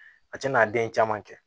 A tɛna den caman kɛ